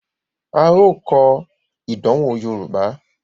a yóò kọ ìdánwò yorùbá.